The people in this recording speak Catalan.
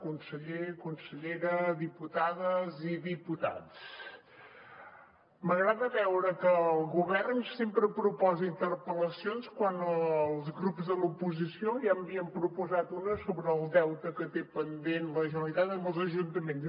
conseller consellera diputades i diputats m’agrada veure que el govern sempre proposa interpel·lacions quan els grups de l’oposició ja n’havien proposat una sobre el deute que té pendent la generalitat amb els ajuntaments